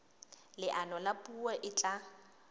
leano la puo e tla